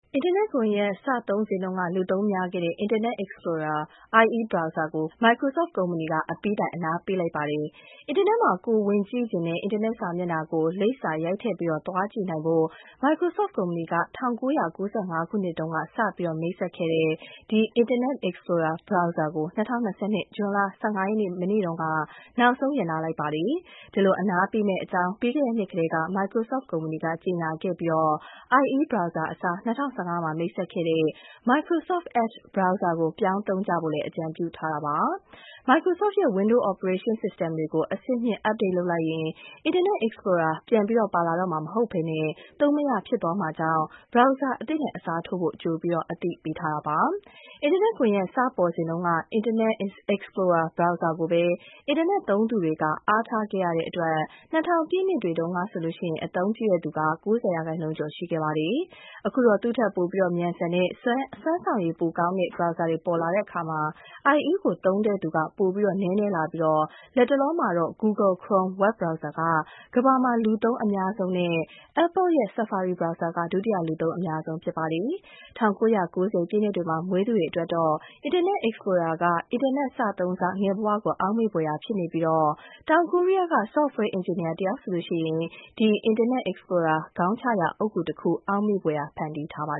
အင်တာနက်ကွန်ယက် စသုံးစဉ်တုန်းက လူသုံးများခဲ့တဲ့ Internet Explorer IE browser ကို ၂၇ နှစ်နီးပါးအကြာမှာ Microsoft ကုမ္ပဏီ အပြီးတိုင် အနားပေးလိုက်ပါပြီ။ အင်တာနက်မှာ ကိုယ်ဝင်ကြည့်ချင်တဲ့ အင်တာနက်စာမျက်နှာကို လိပ်စာရိုက်ထည့် သွားကြည့်နိုင်ဖို့ Microsoft ကုမ္ပဏီက ၁၉၉၅ ခုနှစ်မှာ စတင် မိတ်ဆက်ခဲ့တဲ့ Internet Explorer browser ကို ၂၀၂၂ ဇွန်လ ၁၅ ရက် မနေ့က နောက်ဆုံး ရပ်နားလိုက်ပါတယ်။ ဒီလို အနားပေးမယ့်အကြောင်း ပြီးခဲ့တဲ့နှစ်ကတည်းက Microsoft ကုမ္ပဏီက ကြေညာခဲ့ပြီး IE အစား ၂၀၁၅ မှာ မိတ်ဆက်ခဲ့တဲ့ Microsoft Edge browser ကို ပြောင်းသုံးကြဖို့ အကြံပြုထားပါတယ်။ Microsoft ရဲ့Windows operating system ြ တွေကို အဆင့်မြှင့် update လုပ်လိုက်ရင် Internet Explorer ပြန်ပါလာတော့မှ မဟုတ်ဘဲ သုံးမရဖြစ်သွားမှာမို့ Brower အသစ်နဲ့ အစားထိုးဖို့ ကြိုအသိပေးထားပါတယ်။ အင်တာနက်ကွန်ယက် စပေါ်စဉ်တုန်းက Internet Explorer browser ကိုပဲ အင်တာနက်သုံးသူတွေ အားထားခဲ့ရတဲ့အတွက် ၂၀၀၀ ပြည့်နှစ်တွေတုန်းကဆိုရင် အသုံးပြုသူ ၉၀% ကျော်ရှိခဲ့ပါတယ်။ အခုတော့ သူ့ထက် မြန်ဆန်၊ စွမ်းဆောင်ရည်ကောင်းတဲ့ browser တွေပေါ်လာတဲ့အခါမှာ IE ကို သုံးသူ ပို နည်းနည်းလာပြီး လက်တလောမှာတော့ Google Chrome web browser က ကမ္ဘာမှာ လူသုံးအများဆုံးနဲ့ Apple ရဲ့ Safari browser က ဒုတိယလူသုံးအများဆုံး ဖြစ်လာပါတယ်။ ၁၉၉၀ ပြည့်နှစ်တွေမှာ မွေးသူတွေအတွက်တော့ Internet Explorer က အင်တာနက်စသုံးစ ငယ်ဘဝကို အောက်မေ့ဖွယ်ရာ ဖြစ်နေပြီး တောင်ကိုရီးယားက software engineer တယောက်ဆိုရင် Internet Explorer ခေါင်းချရာ အုတ်ဂူတခု အောက်မေ့ဖွယ် ဖန်တီးထားပါ